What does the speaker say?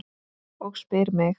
Og spyr mig